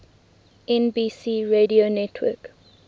nbc radio network